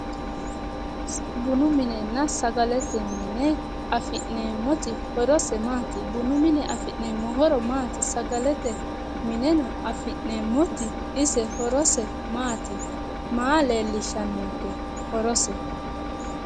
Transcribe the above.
Bunu minenna sagalete mine afi'neemmoti horose maati? bunu mine afi'neemmo horo maati? sagalete mineno afi'neemmoti ise horose maati? maa leellishshannonke horose?